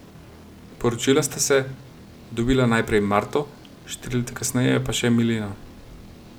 Poročila sta se, dobila najprej Marto, štiri leta kasneje pa še Mileno.